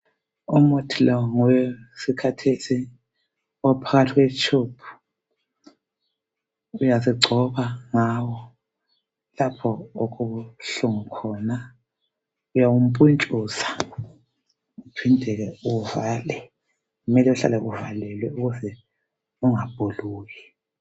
umuthi lo ngowesikhathesi uphakathi kwe tube uyazigcoba ngawo lapho okubuhlungu khona uyawupuntshuza uphinde ke uvale kumele kuhlale kuvalelwe ukuze kungabhuluki